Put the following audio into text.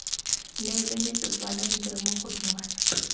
neele metsotswana re dire mogodungwana